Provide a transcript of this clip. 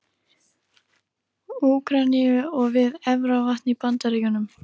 Úkraínu og við Efravatn í Bandaríkjunum.